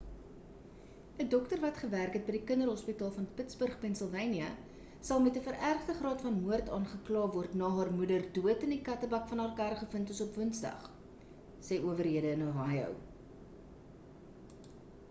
'n dokter wat gewerk het by die kinderhospitaal van pittsburg pennsylvanië sal met 'n verergde graad van moord aangekla word na haar moeder dood in die kattebak van haar kar gevind is op woensdag sê owerhede in ohio